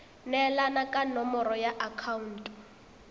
neelana ka nomoro ya akhaonto